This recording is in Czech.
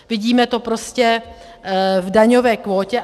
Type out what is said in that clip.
Vidíme to prostě v daňové kvótě.